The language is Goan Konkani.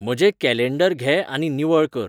म्हजेंं कॅलेंडर घे आनी निवळ कर